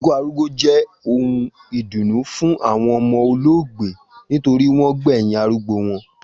Ikú arúgbó jé ohun ìdùnnú fún àwon omo olóògbé nitorí wón gbèyìn arúgbó won